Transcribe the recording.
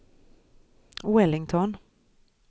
Wellington